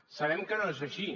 sabem que no és així